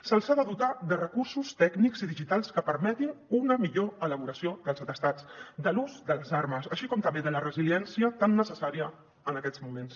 se’ls ha de dotar de recursos tècnics i digitals que permetin una millor elaboració dels atestats de l’ús de les armes així com també de la resilièn cia tan necessària en aquests moments